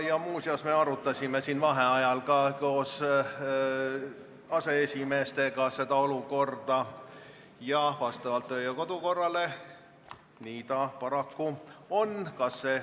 Muuseas, me vaheajal arutasime koos aseesimeestega seda olukorda ning vastavalt kodu- ja töökorra seadusele nii ta paraku on.